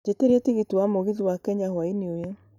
jĩtĩria tigiti wa mũgithi wa Kenya hwaĩinĩ ũyũ